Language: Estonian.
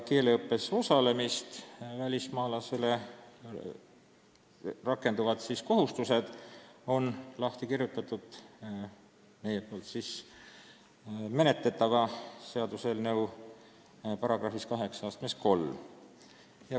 Keeleõppes osalemisel välismaalast puudutavad kohustused on lahti kirjutatud seaduse tulevases §-s 83.